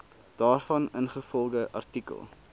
daarvan ingevolge artikel